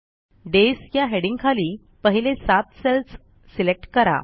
days या हेडिंगखाली पहिले सात सेल्स सिलेक्ट करा